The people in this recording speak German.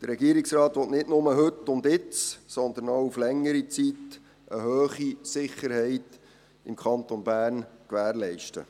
Der Regierungsrat will nicht nur jetzt und heute, sondern auch auf längere Zeit hinaus eine hohe Sicherheit im Kanton Bern gewährleisten.